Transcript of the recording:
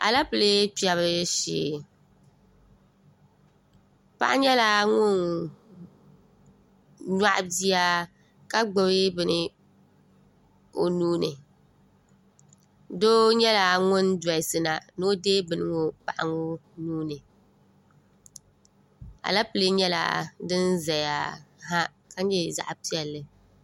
aleepile kpɛbu shee paɣa nyɛla ŋuni nyaɣi bia ka gbubi bini o nuu ni doo nyɛla ŋuni dolisina ni o deei bini ŋɔ paɣa ŋɔ nuu ni aleepile nyɛla din zaya ha ka nyɛ zaɣ' piɛlli